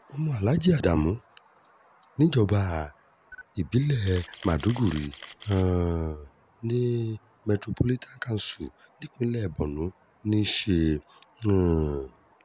ọmọ aláàjì adamu níjọba ìbílẹ̀ maidògìrì um metropolitan council nípínlẹ̀ borno ní í ṣe um